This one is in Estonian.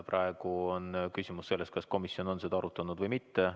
Praegu on küsimus selles, kas komisjon on seda arutanud või mitte.